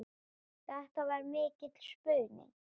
Þetta er mikill spuni.